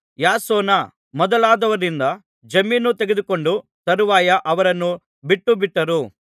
ಯಾಸೋನ ಮೊದಲಾದವರಿಂದ ಜಾಮೀನು ತೆಗೆದುಕೊಂಡು ತರುವಾಯ ಅವರನ್ನು ಬಿಟ್ಟುಬಿಟ್ಟರು